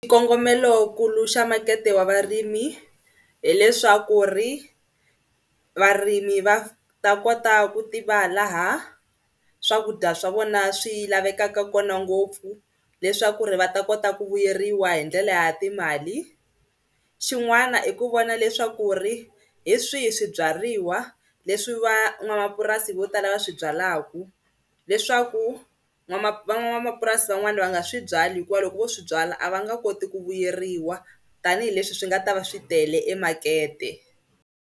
Xikongomelonkulu xa makete wa varimi hileswaku ri varimi va ta kota ku tiva laha swakudya swa vona swi lavekaka kona ngopfu leswaku ri va ta kota ku vuyeriwa hi ndlela ya timali. Xin'wana i ku vona leswaku ri hi swihi swibyariwa leswi van'wamapurasi vo tala va swi byalaku leswaku van'wamapurasi van'wana va nga swi byali hikuva loko vo swi byala a va nga koti ku vuyeriwa tanihileswi swi nga ta va swi tele emakete.